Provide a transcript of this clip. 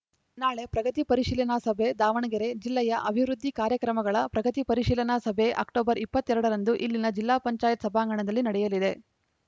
ನಾಳೆ ಪ್ರಗತಿ ಪರಿಶೀಲನಾ ಸಭೆ ದಾವಣಗೆರೆ ಜಿಲ್ಲೆಯ ಅಭಿವೃದ್ಧಿ ಕಾರ್ಯಕ್ರಮಗಳ ಪ್ರಗತಿ ಪರಿಶೀಲನಾ ಸಭೆ ಅಕ್ಟೋಬರ್ ಇಪ್ಪತ್ತ್ ಎರಡ ರಂದು ಇಲ್ಲಿನ ಜಿಲ್ಲಾಪಂಚಾಯತ್ ಸಭಾಂಗಣದಲ್ಲಿ ನಡೆಯಲಿದೆ